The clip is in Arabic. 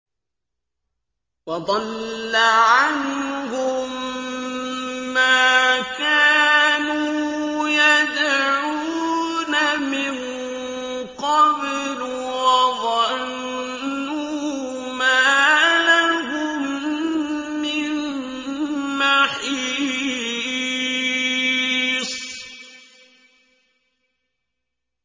وَضَلَّ عَنْهُم مَّا كَانُوا يَدْعُونَ مِن قَبْلُ ۖ وَظَنُّوا مَا لَهُم مِّن مَّحِيصٍ